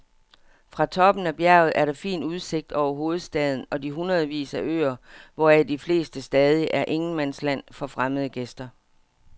Fra toppen af bjerget er der fin udsigt over hovedstaden og de hundredevis af øer, hvoraf de fleste stadig er ingenmandsland for fremmede gæster.